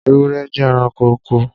Ewúrẹ́ jẹ́ ẹranko oko.